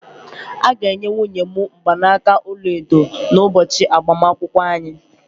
A ga-enye nwunye m mgbanaka ọla edo n'ụbọchị agbamakwụkwọ anyị